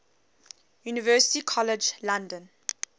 university college london